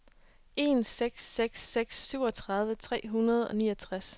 en seks seks seks syvogtredive tre hundrede og niogtres